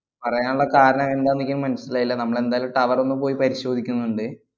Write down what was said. പറയാനുള്ള കാരണം എന്താന്നെനിക്ക് മനസിലായില്ല. നമ്മളെന്തായാലും tower ഒന്ന് പോയി പരിശോധിക്കുന്നുണ്ട്.